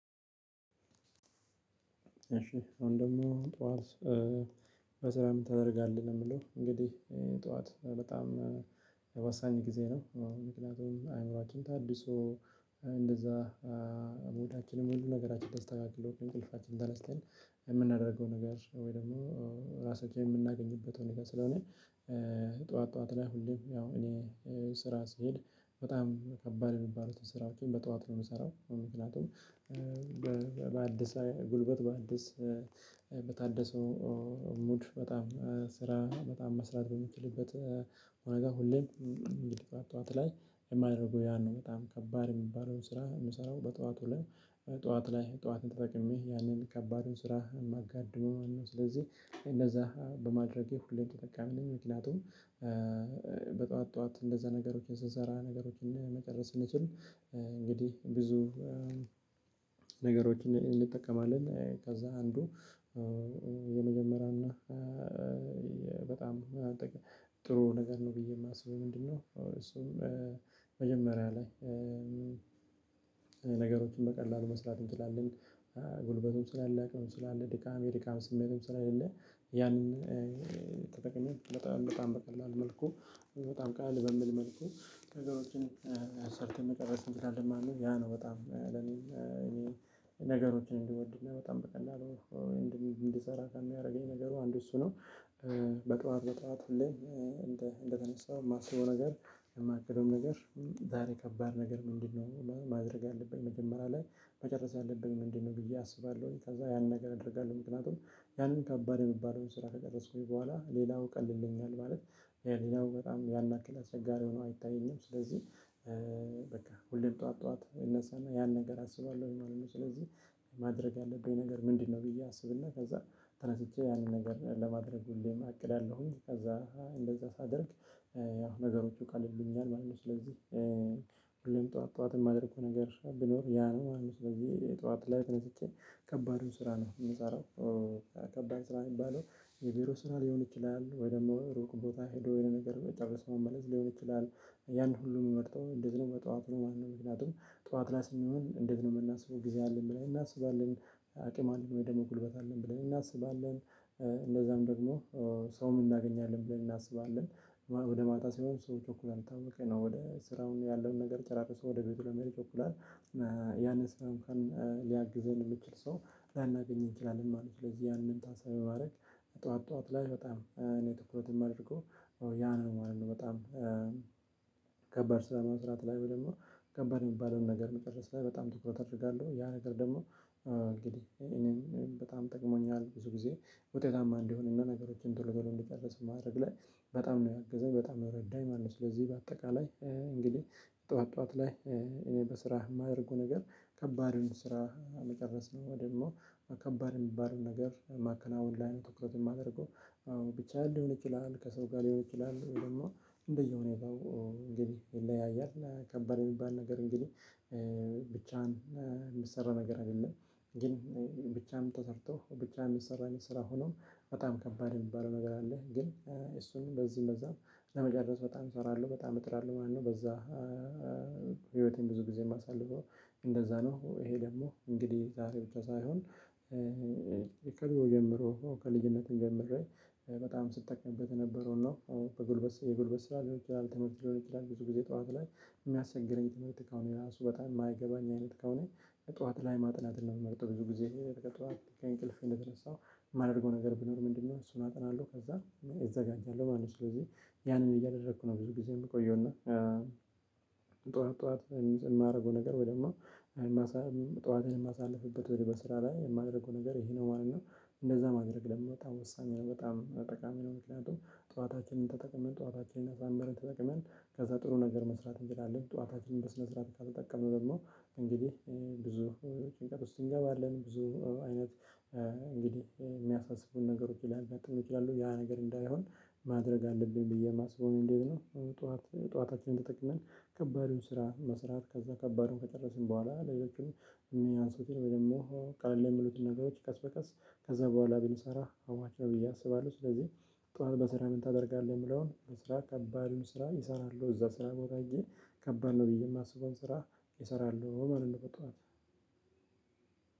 እሺ ወንድሙ ጠዋት ስትነሳ ምን ታደርጋለህ? ነው የምለው እንግዲህ ጠዋት በጣም ወሳኝ ጊዜ ነው። ምክንያቱም አእምሮአችን ታድሶ እንደዛ ሙዳችንም ሁሉ ነገራችን ደስ ተካክሎ እንቅልፋችን ተነስተን የምናደርገው ነገር ወይ ደግሞ ራሳቸውን የምናገኝበት ሁኔታ ስለሆነ። ጠዋት ጠዋት ላይ ሁሌም ያው እኔ ስራ ሲሄድ በጣም ከባድ የሚባሉትን ስራ በጠዋት ነው የምሰራው ምክንያቱም። በአዲስ ሀይል ጉልበት በአዲስ በታደሰው ሙድ በጣም ስራ በጣም መስራት በሚችልበት ሁኔታ ሁሌም። ጠዋት ጠዋት ላይ የማያደርገው ያን ነው በጣም ከባድ የሚባለው ስራ የምሰራው በጠዋቱ ላይ ጠዋት ላይ ጠዋትን ተጠቅሜ ያንን ከባድ ስራ ማጋድመው ማለት ነው። እንደዛ በማድረጌ ሁሌም የጠቃሚ ነኝ። መኪናቱም ጧት እንደዛ ነገሮችን ስንሰራ ነገሮችን መጨረስ እንችል እንግዲህ ብዙ ነገሮችን እንጠቀማለን። ከዛ አንዱ የመጀመሪያና በጣም ጥሩ ነገር ነው ብዬ የማስበው። ምንድነው? እሱም መጀመሪያ ላይ ነገሮችን በቀላሉ መስራት እንችላለን። ጉልበቱን ስላላለቀ ስላለ ድካም የድካም ስሜትም ስለሌ ያንን በጣም በጣም በቀላል መልኩ በጣም ቃለል በሚል መልኩ ነገሮችን ሰርተን መጨረስ እንችላለን ማለት ነው። ያ ነው በጣም ለኔ ነገሮችን እንድወድ በጣም በቀን እንድሰራ ከሚያደርገኝ ነገሩ አንድ እሱ ነው። በጠዋት በጠዋት እንደተነሳው የማስበው ነገር የማያውቀውም ነገር ዛሬ ከባድ ነገር ምንድነው? ማድረግ አለብኝ መጀመሪያ ላይ መጨረስ አለብኝ ምንድነው ብዬ አስባለሁኝ። ከዛ ያን ነገር አደርጋለሁ ምክንያቱም ያንን ከባድ የሚባለውን ስራ ከቀረጽኩኝ በኋላ ሌላው ቀልልኛል ማለት ሌላው በጣም ያን ያክል አስቸጋሪ ሆኖ አይታየኝም ስለዚህ በቃ ሁሌም ጠዋት ጠዋት ይነሳና ያን ነገር አስባለሁኝ ማለት ነው። ስለዚህ ማድረግ ያለብኝ ነገር ምንድነው? ብዬ አስብና ከዛ ተነስቼ ያንን ነገር ለማድረግ ሁሌም እቅዳለሁኝ። ከዛ እንደዛ ሳደርግ ነገሮቹ ቀልሉኛል ማለት ነው። ስለዚህ ሁሌም ጠዋት ጠዋትም የማደርገው ነገር ቢኖር ያ ነው ማለት ነው። ስለዚህ የጠዋት ላይ ተነስቼ ከባዱን ስራ ነው የምንጻረው። ከባድ ስራ የሚባለው የቢሮ ስራ ሊሆን ይችላል ወይ ደግሞ ሩቅ ቦታ ሄዶ የነገር መጨረስ መመለስ ሊሆን ይችላል። ያን ሁሉ የምመርጠው እንደዚህ ነው በጠዋቱ ማለት ነው። ምክንያቱም ጧፍላስ የሚሆን እንደዚህ ነው የምናስበው ጊዜ አለን ብለን እናስባለን። አቅም አለን ወይ ደግሞ ጉልበት አለን ብለን እናስባለን። እንደዛም ደግሞ ሰውም እናገኛለን ብለን እናስባለን። ወደ ማታ ሲሆን ሰዎች ይቸኩላል የታወቀ ነው ወደ ስራውን ያለውን ነገር ጨራርሰው ወደ ቤቱ ለመሄድ ይቸኩላል። ያንን ስራውን ሊያግዘን የምንችል ሰው ላናገኝ እንችላለን ማለት ነው። ስለዚህ ያንን ታሳቢ ማድረግ። ጠዋት ጠዋት ላይ በጣም እኔ ትኩረት የማደርገው ያ ነው ማለት ነው። በጣም ከባድ ስራ ለመስራት ላይ ብለን ነው ከበር የሚባለውን ነገር መጨረስ ላይ በጣም ትኩረት አድርጋለሁ ያ ነገር ደግሞ እንግዲህ ይሄንን በጣም ጠቅሞኛል ብዙ ጊዜ ውጤታማ እንዲሆን እና ነገሮችን ቶሎ በሎ እንዲጨርስ ማድረግ ላይ በጣም ነው ያገዘኝ በጣም ነው ረዳኝ ማለት ነው። ስለዚህ በአጠቃላይ እንግዲህ ጠዋት ጠዋት ላይ እኔ በስራህ የማደርገው ነገር ከባድ ነው። ስራ መጨረስ ነው ደግሞ ከባድ የሚባለውን ነገር ማከናወን ላይ ነው ትኩረት የማደርገው። አዎ ብቻ አይደለም ይችላል ከሰው ጋር ሊሆን ይችላል ወይም ደግሞ እንደየሆነ የለውም ግብ ይለያያል። ከባድ የሚባል ነገር እንግዲህ ብቻህን የሚሰራ ነገር አይደለም። ግን ብቻህን ተሰርቶ ብቻህን የሚሰራ ስራ ሆኖ በጣም ከባድ የሚባለው ነገር አለ። ግን እሱን በዚህ በዛም ለመጨረስ በጣም እሰራለሁ በጣም እጥራለሁ ማለት ነው። በዛ ብዙ ጊዜ የማሳልፈው እንደዛ ነው። ይሄ ደግሞ እንግዲህ ዛሬ ብቻ ሳይሆን። ከድሮ ጀምሮ ከልጅነት ጀምሬ በጣም ስትጠቀምበት የነበረውን ነው በጉልበት የጉልበት ስራ ሊሆን ይችላል። ትምህርት ሊሆን ይችላል። ብዙ ጊዜ ጠዋት ላይ የሚያስቸግረኝ ትምህርት ከአሁን ራሱ በጣም የማይገባኝ አይነት ከሆነ። ጠዋት ላይ ማጥናትን ነው የምመርጠው ብዙ ጊዜ ከእኔ እንቅልፍ እንደተነሳው የማደርገው ነገር ቢኖር ምንድነው? እሱን አጠናለሁ ከዛ እዘጋጃለሁ ማለት ነው። ስለዚህ ያንን እያደረኩ ነው ብዙ ጊዜ የምቆየው እና። ጠዋት ጠዋት የማደርገው ነገር ወይ ደግሞ ጠዋትን የማሳልፍበት ወይም በስራ ላይ የማደርገው ነገር ይሄ ነው ማለት ነው። እንደዛ ማድረግ ደግሞ በጣም ወሳኝ ነው። በጣም ጠቃሚ ነው። ምክንያቱም ጠዋታችንን ተጠቅመን ጠዋታችንን አሳምረን ተጠቅመን ከዛ ጥሩ ነገር መስራት እንችላለን ጠዋታችንን በስነ ስርዓት ካልተጠቀምን ነው። እንግዲህ ብዙ ጭንቀት ውስጥ እንገባለን ብዙ አይነት እንግዲህ የሚያሳስቡን ነገሮች ሊያጋጥሙን ይችላሉ ያ ነገር እንዳይሆን። ማድረግ አለብኝ ብዬ የማስበው እንዴት ነው? ጠዋት ጠዋታችንን ተጠቅመን ከባድ የሆነ ስራ መስራት ከዛ ከባዱ ከጨረስን በኋላ ሌሎችም የሚያንስቱን ወይም ደግሞ ቀለል ለሚሉት ነገሮች ቀስ በቀስ ከዛ በኋላ ብንሰራ አዋጭ ብዬ አስባለሁ። ስለዚህ። ጠዋት በስራ ምን ታደርጋለህ የምለውን? በስራ ከባዱን ስራ እሰራለሁ እዛ ስራ ቦታ ሄጄ ከባድ ነው ብዪ የማስበውን ስራ እሰራለሁ ማለት ነው። በጠዋት